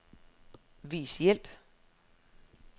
Vis hjælp.